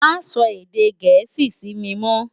Má sò èdè Gẹẹsi si mi mò.